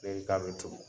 Bɛɛ ka bɛ turu